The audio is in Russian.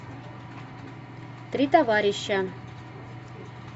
три товарища